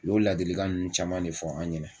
O y'o ladilikan ninnu caman de fɔ an ɲɛnɛ